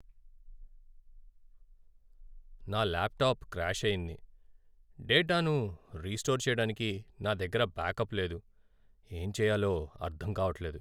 నా laptop crash అయింది, డేటాను రీస్టోర్ చేయడానికి నా దగ్గర బ్యాకప్ లేదు, ఏం చెయ్యాలో అర్ధం కావట్లేదు!